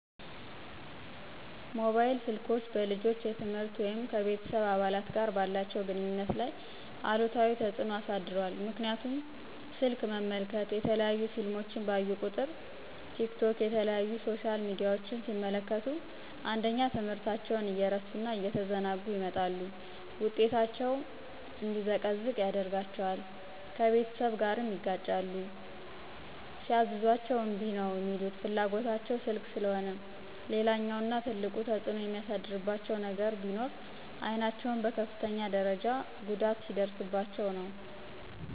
ሞባይል ስልኮች በልጆች የትምህርት ወይም ከቤተስብ አባላት ጋር ባላቸው ግንኙነት ላይ አሉታዊ ተፅኖ አሳድሯል ምክንያቱም ስልክ መመልከት፣ የተለያዩ ፊልሞችን ባዩ ቁጥር፣ ቲክቶክ የተለያዩ ሶሻል ሚዲያችን ሲመለክቱ አንደኛ ትምህርታቸውን እየረሱ እና እየተዘናጉ ይመጣሉ ውጤታቸው እንዲዘቀዝቅ ያደርጋቸዋል፣ ከቤተሰብ ጋርም ይጋጫሉ ሲያዝዟቸ እምቢ ነው ሚሉት ፍላጎታቸው ስልክ ስለሆነ። ሌላኛውና ትልቁ ተፅኖ የሚያሳድርባቸው ነገር ቢኖር አይናቸውን በከፍተኛ ደርጃ ጉዳት ሲያደርስባቸው ነው።